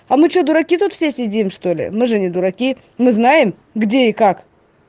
а мы что дураки тут все сидим что-ли мы же не дураки мы знаем где и как